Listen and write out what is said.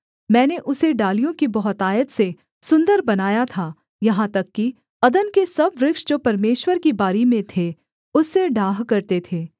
मैंने उसे डालियों की बहुतायत से सुन्दर बनाया था यहाँ तक कि अदन के सब वृक्ष जो परमेश्वर की बारी में थे उससे डाह करते थे